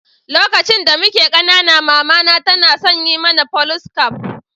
Lokaci da mike kanana, mama na tana yawan son yin mana Folice caf.